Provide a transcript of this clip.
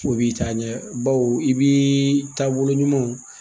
O b'i taa ɲɛ baw i bi taabolo ɲumanw